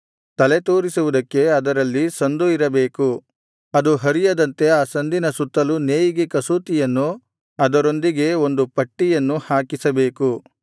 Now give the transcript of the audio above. ತಲೆತೂರಿಸುವುದಕ್ಕೆ ಅದರಲ್ಲಿ ಸಂದು ಇರಬೇಕು ಅದು ಹರಿಯದಂತೆ ಆ ಸಂದಿನ ಸುತ್ತಲೂ ನೇಯಿಗೆ ಕಸೂತಿಯನ್ನು ಅದರೊಂದಿಗೆ ಒಂದು ಪಟ್ಟಿಯನ್ನು ಹಾಕಿಸಬೇಕು